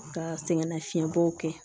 Ka sɛgɛnnafiɲɛbɔw kɛ